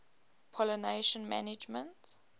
pollination management